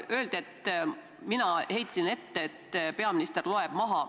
Öeldi, et mina heitsin ette, et peaminister loeb maha.